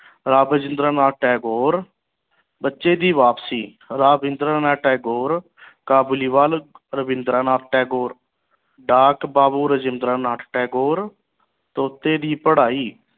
ਰਾਵਿੰਦਰਾ ਨਾਥ ਟੈਗੋਰ ਬੱਚੇ ਦੀ ਵਾਪਸੀ ਰਾਵਿੰਦਰਾਂ ਨਾਥ ਟੈਗੋਰ ਰਾਵਿੰਦਰਾ ਨਾਥ ਟੈਗੋਰ ਠਾਠ ਬਾਬੂ ਰਾਵਿੰਦਰਾ ਨਾਥ ਟੈਗੋਰ ਤੋਂ ਉਤੇ ਦੀ ਪੜ੍ਹਾਈ